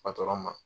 ma